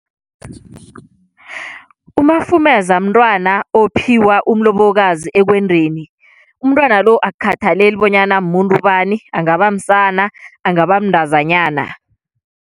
Umafumeza mntwana ophiwa umlobokazi ekwendweni, umntwana lo akukhathaleli bonyana muntu bani angaba msana angaba mntazanyana.